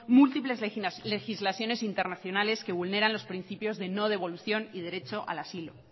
múltiples legislaciones internacionales que vulneran los principios de no devolución y derecho al asilo